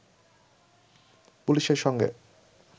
পুলিশের সঙ্গে